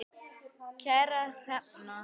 Kæra Hrefna